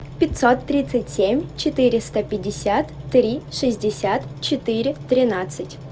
пятьсот тридцать семь четыреста пятьдесят три шестьдесят четыре тринадцать